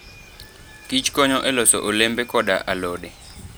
kich konyo e loso olembe koda alode.